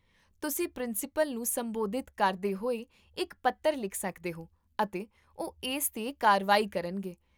ਤੁਸੀਂ ਪ੍ਰਿੰਸੀਪਲ ਨੂੰ ਸੰਬੋਧਿਤ ਕਰਦੇ ਹੋਏ ਇੱਕ ਪੱਤਰ ਲਿਖ ਸਕਦੇ ਹੋ, ਅਤੇ ਉਹ ਇਸ 'ਤੇ ਕਾਰਵਾਈ ਕਰਨਗੇ